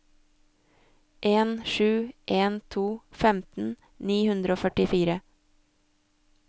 en sju en to femten ni hundre og førtifire